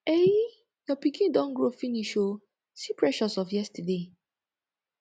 ehee your pikin don grow finish ooo see precious of yesterday